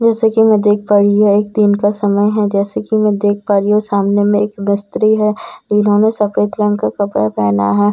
जैसे कि मैं देख पा रही है एक दिन का समय है जैसे कि मैं देख पा रही हूं सामने में एक मिस्त्री है इन्होंने सफेद रंग का कपड़ा पहना है।